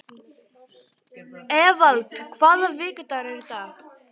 Evald, hvaða vikudagur er í dag?